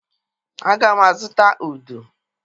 Aga m azụta udu.